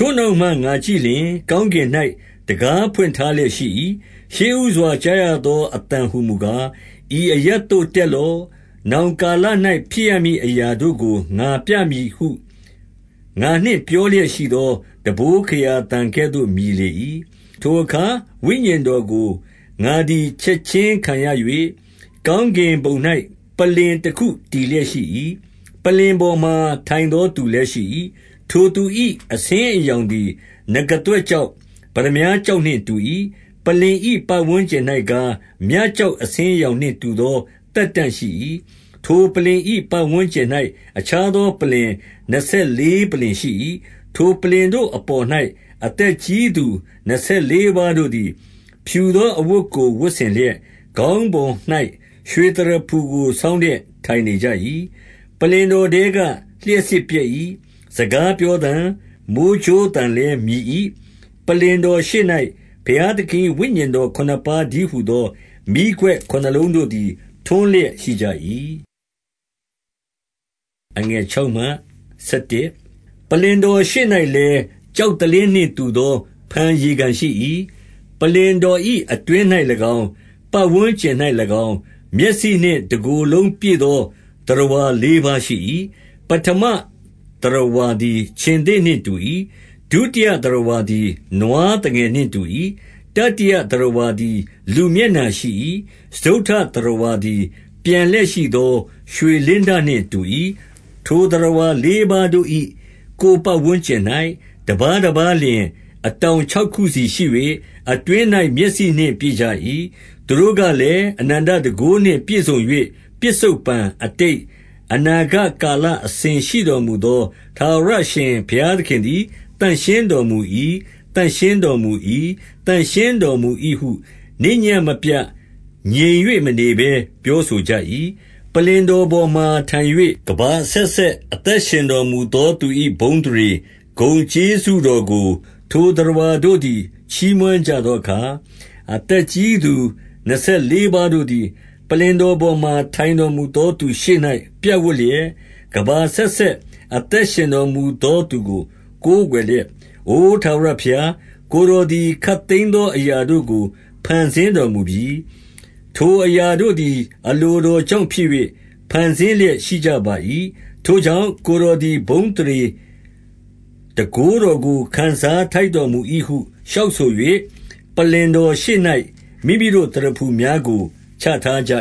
ိုနောက်မှငါကြည့်လျှင်၊ ကောင်းကင်၌ တံခါးဖွင့်ထားလျက်ရှိ၏။ ရှေ့ဦးစွာကြားရသော အသံဟူမူကား၊ ဤအရပ်သို့တက်လော့။ နောင်ကာလ၌ ဖြစ်ရမည်အရာတို့ကို ငါပြမည်ဟု ငါနှင့်ပြောလျက်ရှိ သောတံပိုးခရာသံ ကဲ့သို့ မြည်လေ၏။ ထိုအခါဝိညာဉ်တော်ကို ငါသည်ချက်ခြင်းခံရ၍၊ ကောင်းကင်ဘုံ၌ ပလ္လင်တခုတည်လျက်ရှိ၏။ ပလ္လင်ပေါ်မှာ ထိုင်သော သူလည်းရှိ၏။ ထိုသူ၏ အဆင်းအရောင်သည် နဂါးသွဲ့ကျောက်၊ ပတ္တမြားကျောက်နှင့်တူ၏။ ပလ္လင်၏ ပတ်ဝန်း ကျင်၌ကား၊ မြကျောက် အဆင်းအရောင်နှင့်တူသော သက်တံ့ရှိ၏။ ထိုပလ္လင်၏ ပတ်ဝန်းကျင်၌ အခြားသော ပလ္လင် နှစ်ဆယ်လေး ပလ္လင်ရှိ၏။ ထိုပလ္လင်တို့အပေါ်၌ အသက်ကြီးသူနှစ်ဆယ်လေးပါးတို့သည် ဖြူသောအဝတ်ကို ဝတ်ဆင်လျက်၊ ခေါင်းပေါ်၌ ရွှေသရဖူကို ဆောင်းလျက် ထိုင်နေကြ၏။ ပလ္လင်တော်ထဲကလျှပ်စစ်ပြတ်၏။ စကား ပြောသံ၊ မိုဃ်းကြိုး သံလည်းမြည်၏။ ပလ္လင်တော်ရှေ့၌ ဘုရားသခင်၏ဝိညာဉ်ခုနစ်ပါးတည်းဟူသော မီးခွက် ခုနစ်လုံးတို့သည် ထွန်းလျက်ရှိကြ၏။ ပလ္လင်တော်ရှေ့၌လည်း၊ ကျောက်သလင်းနှင့် တူသော ဖန်ရေကန်ရှိ၏။ ပလ္လင်တော်၏အတွင်း၌၎င်း၊ ပတ်ဝန်းကျင်၌၎င်း၊ မျက်စိနှင့် တကိုယ်လုံးပြည့်သော သတ္တဝါလေးပါးရှိ၏။ ပဌမသတ္တဝါသည် ခြင်္သေ့နှင့်တူ၏။ ဒုတိယ သတ္တဝါသည် နွား သငယ်နှင့်တူ၏။ တတိယသတ္တဝါသည် လူမျက်နှာရှိ၏။ စတုတ္ထသတ္တဝါ သည် ပျံလျက်ရှိသော ရွှေလင်းတနှင့်တူ၏။ ထိုသတ္တဝါလေးပါးတို့၏ ကိုယ်ပတ်ဝန်းကျင်၌၊ တပါးတပါးလျှင် အတောင်ခြောက်ခုစီရှိ၍၊ အတွင်း၌ မျက်စိနှင့်ပြည့်ကြ၏။ သူတို့ကလည်း၊ အနန္တတန်ခိုး နှင့်ပြည့်စုံ၍၊ ပစ္စုပ္ပန်၊ အတိတ်၊ အနာဂတ်ကာလ အစဉ် ရှိတော်မူသော ထာဝရအရှင်ဘုရားသခင်သည် သန့်ရှင်းတော်မူ၏။ သန့်ရှင်းတော်မူ၏ နေ့ညဉ့်မပြတ် ငြိမ်၍ မနေဘဲ ပြောဆိုကြ၏။ ပလ္လင်တော်ပေါ်မှာ ထိုင်၍ ကမ္ဘာအဆက်ဆက် အသက်ရှင်တော်မူသောသူ၏ ဘုန်းအသရေ၊ ဂုဏ်ကျေးဇူးတော်ကို ထိုသတ္တဝါတို့သည်ချီးမွမ်းကြသောအခါ၊ အသက်ကြီးသူနှစ်ဆယ်လေးပါးတို့သည် ပလ္လင်တော်ပေါ်မှာ ထိုင်တော်မူသောသူရှေ့၌ ပြပ်ဝပ်လျက် ၊ ကမ္ဘာအဆက်ဆက် အသက်ရှင် တော်မူသော သူကို ကိုးကွယ်လျက် ၊ အိုထာဝရဘုရား၊ ကိုယ်တော်သည် ခပ်သိမ်း သောအရာတို့ကို ဖန်ဆင်းတော်မူပြီ။ ထိုအရာတို့သည် အလိုတော်ကြောင့်ဖြစ်၍ ဖန်ဆင်း လျက်ရှိကြပါ၏။ ထိုကြောင့် ၊ ကိုယ်တော်သည်ဘုန်းအသရေ တန်ခိုးတော် ကို ခံစားထိုက်တော်မူ၏ဟုလျှောက်ဆို၍၊ ပလ္လင်တော် ရှေ့၌ မိမိတို့သရဖူများကိုချထားကြ